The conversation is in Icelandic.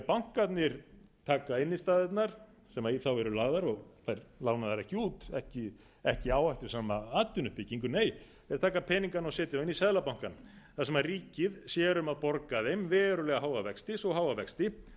bankarnir taka innstæðurnar sem í þá eru lagðar og þær lánaðar ekki út ekki í áhættusama atvinnuuppbyggingu nei þeir taka peningana og setja þá einn seðlabankann þar sem ríkið sér um að borga þeim verulega háa vexti svo háa vexti